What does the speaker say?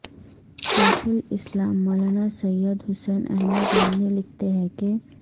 شیخ الاسلام مولانا سید حسین احمد مدنی لکھتے ہیں کہ